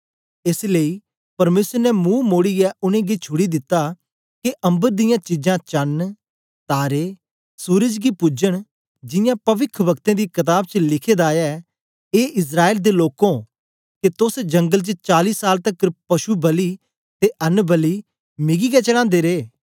एस लेई परमेसर ने मुंह मोड़ीयै उनेंगी छुड़ी दिता के अम्बर दियां चीजां चण तारे सूरज गी पुजन जियां पविखवक्तें दी कताब च लिखे दा ऐ ए इस्राएल दे लोकों के तोस जंगल च चाली साल तकर पशु बलि ते अन्न बलि मिगी गै चढ़ांदे रे